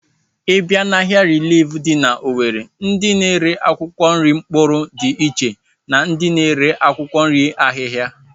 Ị bịa n'ahịa rilif dị n'Owere, ndị na-ere akwụkwọ nri mkpụrụ dị iche na ndị na-ere akwụkwọ nri ahịhịa